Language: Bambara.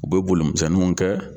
U bɛ bolimisɛnninw kɛ.